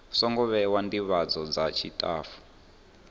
songo vhewa ndivhadzo dza tshitafu